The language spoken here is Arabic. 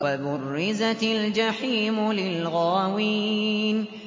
وَبُرِّزَتِ الْجَحِيمُ لِلْغَاوِينَ